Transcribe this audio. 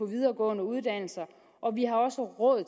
videregående uddannelser og vi har også råd